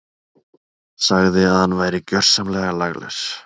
Sagði að hann væri gjörsamlega laglaus.